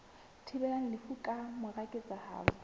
thibelang lefu ka mora ketsahalo